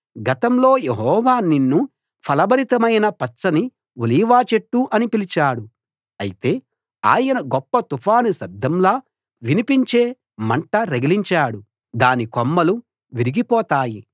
గతంలో యెహోవా నిన్ను ఫలభరితమైన పచ్చని ఒలీవ చెట్టు అని పిలిచాడు అయితే ఆయన గొప్ప తుఫాను శబ్దంలా వినిపించే మంట రగిలించాడు దాని కొమ్మలు విరిగిపోతాయి